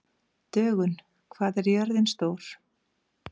Dögun, hvað er jörðin stór?